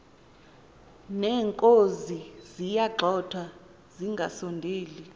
neenkozi ziyagxothwa zingasondeli